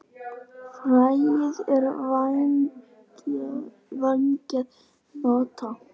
Fræið er vængjuð hnota.